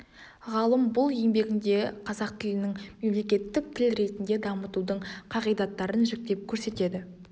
ғалым бұл еңбегінде қазақ тілінің мемлекеттік тіл ретінде дамытудың қағидаттарын жіктеп көрсетеді